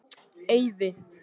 Eiði